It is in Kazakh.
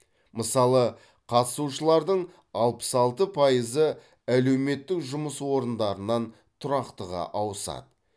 мысалы қатысушылардың алпыс алты пайызы әлеуметтік жұмыс орындарынан тұрақтыға ауысады